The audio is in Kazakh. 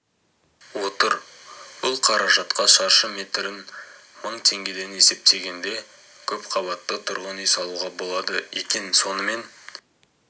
отыр бұл қаражатқа шаршы метрін мың теңгеден есептегенде көпқабатты тұрғын үй салуға болады екен сонымен